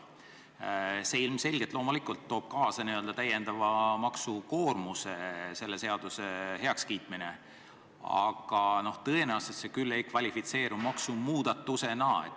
Selle seaduse heakskiitmine toob ilmselgelt kaasa n-ö täiendava maksukoormuse, aga tõenäoliselt see küll ei kvalifitseeru maksumuudatusena.